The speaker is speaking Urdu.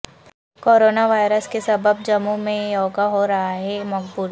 کورونا وائرس کے سبب جموں میں یوگا ہورہا ہے مقبول